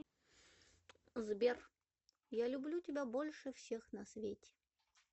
сбер я люблю тебя больше всех на свете